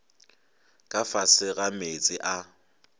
ka fase ga meetse a